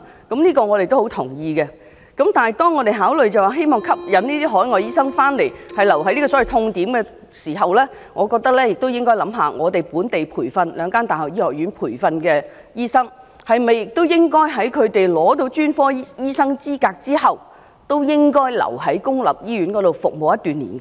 然而，當我們考慮到我們吸引這些海外醫生回港，就是希望他們留在這個所謂"痛點"服務時，我們認為更應思考是否應該要求兩間本地大學醫學院培訓的醫生，在他們取得專科醫生資格後，同樣留在公立醫院裏服務一定年期？